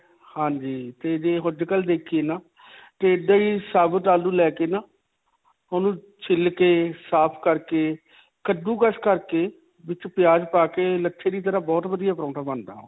ਹਾਂਜੀ. ਤੇ ਜੇ ਅੱਜਕਲ੍ਹ ਦੇਖੀਏ ਨਾ ਤੇ ਇੱਦਾਂ ਹੀ ਸਬੂਤ ਆਲੂ ਲੈ ਕੇ ਨਾ, ਉਨੂੰ ਛਿੱਲ ਕੇ, ਸਾਫ਼ ਕਰਕੇ, ਕੱਦੂਕਸ ਕਰਕੇ ਵਿੱਚ ਪਿਆਜ ਪਾ ਕੇ ਲੱਛੇ ਦੀ ਤਰ੍ਹਾ ਬਹੁਤ ਵਧੀਆ ਪਰੌਂਠਾ ਬਣਦਾ ਓਹ.